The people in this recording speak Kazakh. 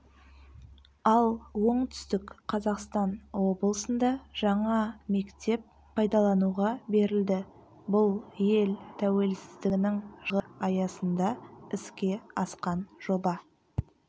ал оңтүстік қазақстан облысында жаңа мектеп пайдалануға берілді бұл ел тәуелсіздігінің жылдығы аясында іске асқан жоба